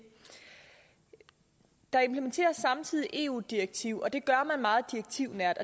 der implementeres samtidig et eu direktiv og det gør man meget direktivnært